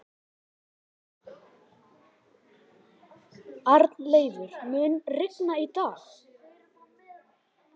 Arnleifur, mun rigna í dag?